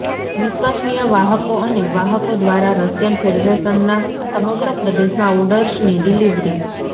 વિશ્વસનીય વાહકો અને વાહકો દ્વારા રશિયન ફેડરેશનના સમગ્ર પ્રદેશમાં ઓર્ડર્સની ડિલિવરી